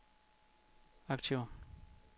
aktiver